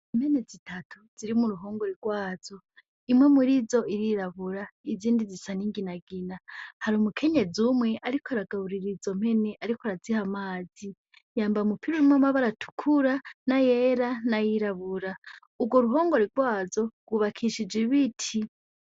Impene zitatu ziri mu ruhongore gwazo, imwe murizo irirabura, izindi zisa ni nginagina hari umukenyezi umwe ariko aragaburira izo mpene ariko araziha amazi yambaye umupira urimwo amabara atukura nayera n'ayirabura ,ugwo ruhongore gwazo gwubakishije ibiti